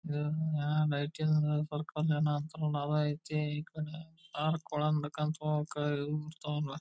ಗಿಡಗಲೆಲ್ಲ ಳಿದವ ಒಂದ್ ಚೇರ್ ಇದ .